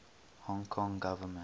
hong kong government